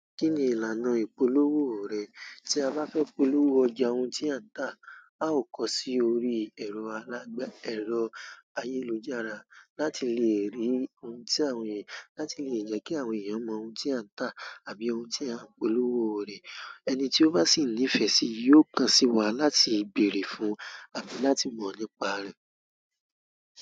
Kí ni ìlànà ìpolówó rẹ? Tí a bá fẹ́ polówó ọjà ohun tí à ń tà, a ó kọ sí orí ẹ̀rọ alágbè, ẹ̀rọ ayélujára láti lè rí ohun tí àwọn èyí, láti lè jẹ́ kí àwọn èèyàn mọ ohun tí à ń tà àbí ohun tí à ń polówó rẹ̀. Ẹni tí ó bá sì nífẹ̀ẹ́ sì yóò kan sí wa láti bèèrè fún àbí láti mọ̀ nípa rẹ̀.